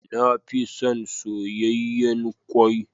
Na fi son soyayyen kwai.